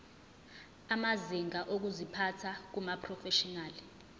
amazinga okuziphatha kumaprofeshinali